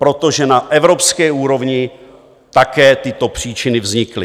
Protože na evropské úrovni také tyto příčiny vznikly.